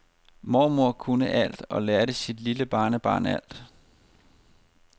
Mormor kunne alt og lærte sit lille barnebarn alt.